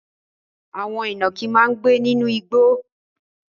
Àwọn ìnàkí máa ń gbé nínú igbó.